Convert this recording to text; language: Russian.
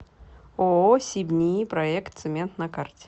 ооо сибниипроектцемент на карте